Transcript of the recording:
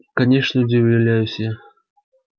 конечно удивляюсь я